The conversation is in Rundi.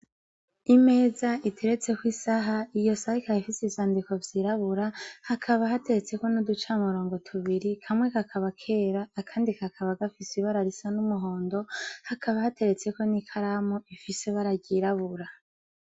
Imeza iteretseko isaha, iyo saha ikaba ifise ivyandiko vyirabura. Hakaba hateretseko n'uducamurongo tubiri, kamwe kakaba kera akandi kakaba gafise ibara risa n'umuhondo, hakaba hateretseko n'ikaramu ifise ibara ryirabura.